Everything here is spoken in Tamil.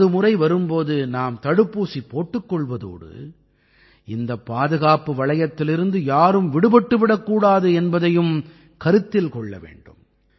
நமது முறை வரும் போது நாம் தடுப்பூசி போட்டுக் கொள்வதோடு இந்தப் பாதுகாப்பு வளையத்திலிருந்து யாரும் விடுபட்டு விடக்கூடாது என்பதையும் கருத்தில் கொள்ள வேண்டும்